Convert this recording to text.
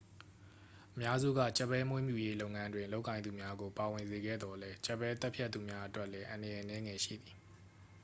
အများစုက ကြက်ဘဲမွေးမြူရေးလုပ်ငန်းတွင် လုပ်ကိုင်သူများကို ပါဝင်စေခဲ့သော်လည်း ကြက်ဘဲသတ်ဖြတ်သူများအတွက်လည်း အန္တရာယ်အနည်းငယ်ရှိသည်